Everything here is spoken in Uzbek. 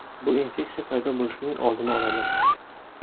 Bu infeksiya paydo bo‘lishining oldini oladi.